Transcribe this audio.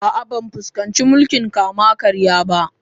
A'a, ban fuskanci mulkin kama-karya ba.